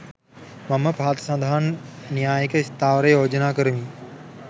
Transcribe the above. මම පහත සඳහන් න්‍යායික ස්ථාවරය යෝජනා කරමි